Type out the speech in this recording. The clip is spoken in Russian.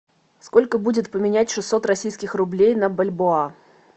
сколько будет поменять шестьсот российских рублей на бальбоа